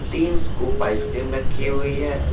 तीन scoop ice cream रखी हुए है।